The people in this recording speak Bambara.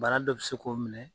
Bana dɔ bɛ se k'o minɛ.